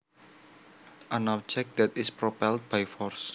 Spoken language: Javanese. An object that is propelled by force